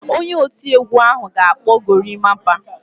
Onye oti egwu ahụ ga-akpụ gorimapa.